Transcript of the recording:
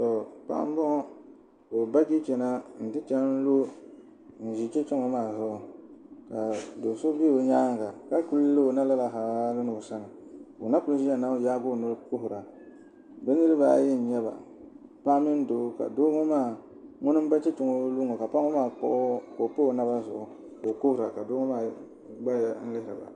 Paɣa n boŋo ka o ba chɛchɛ na n ti lu n do chɛchɛ ŋo maa zuɣu do so ʒɛ o nyaanga ka ku liho lala na halli ni o sani ka o na kuli ʒiya n yaagi o noli kuhura bi niraba ayi n nyɛba paɣa mini doo ka doo ŋo maa ŋuni n ba chɛchɛ ŋo lu ŋo ka paɣa ŋo maa kpuɣu ka o pa o naba zuɣu ka o kuhura ka doo ŋo maa gbaya lihiriba